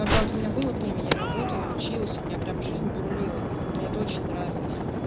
когда-то у меня было время я работала училась у меня прям жизнь бурлила мне это очень нравилось